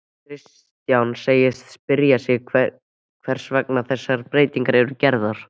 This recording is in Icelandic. Kristján segist spyrja sig hvers vegna þessar breytingar eru gerðar?